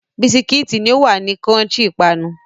Biscuits ni o wa crunchy ipanu